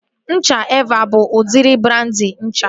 Ncha Evaa bụ udịri brandị ncha